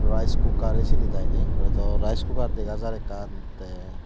rice cooker aysenit i de oito rice cooker dega jaar ekkan te.